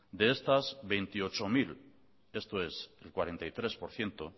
de estas veintiocho mil esto es el cuarenta y tres por ciento